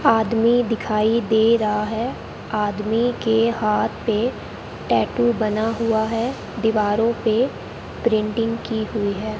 आदमी दिखाई दे रहा है आदमी के हाथ पे टैटू बना हुआ है दीवारों पे प्रिंटिंग की हुई है।